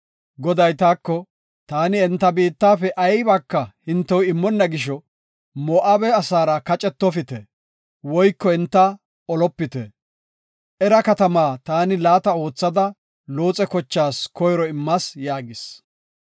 Goday taako, ‘Taani enta biittafe aybaka hintew immonna gisho, Moo7abe asaara kacetofite woyko enta olopite. Era katamaa taani laata oothada Looxe kochaas koyro immas’ ” yaagis.